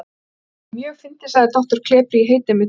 Það er mjög fyndið, sagði doktor klepri: Ég heiti einmitt Indriði.